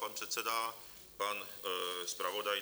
Pan předseda, pan zpravodaj?